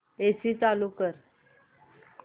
AC चालू कर